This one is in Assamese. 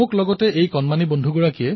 মই নিশ্চয়কৈ আপোনাৰ আদেশ পালন কৰিম